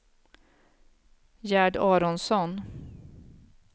Gerd Aronsson